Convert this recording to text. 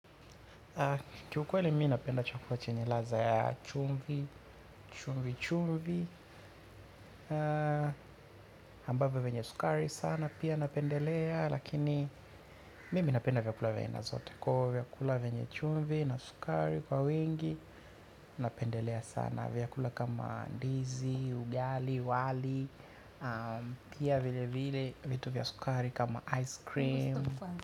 Kiukweli mi napenda chakula chenye ladha ya chumvi, chumvi chumvi ambavio venye sukari sana pia napendelea. Lakini mimi napenda vyakula vya aina zote. Kwa vyakula venye chumvi na sukari kwa wingi napendelea sana vyakula kama ndizi, ugali, wali. Pia vile vile vitu vya sukari kama ice cream.